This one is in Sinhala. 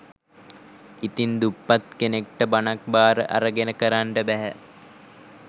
ඉතින් දුප්පත් කෙනෙක්ට බණක් බාර අරගෙන කරන්න බැහැ